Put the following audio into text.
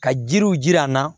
Ka jiriw jira an na